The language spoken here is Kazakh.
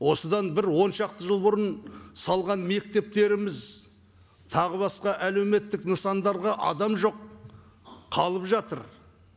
осыдан бір он шақты жыл бұрын салған мектептеріміз тағы басқа әлеуметтік нысандарға адам жоқ қалып жатыр